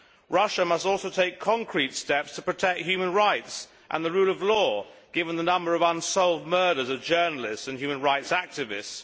Russia must also take concrete steps to protect human rights and the rule of law, given the number of unsolved murders of journalists and human rights activists.